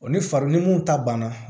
O ni fari ni mun ta banna